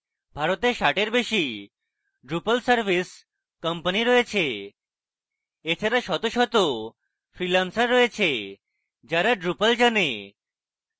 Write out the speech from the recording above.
ভারতে ষাটের বেশি drupal service companies রয়েছে এছাড়া শত শত freelancers রয়েছে যারা drupal জানে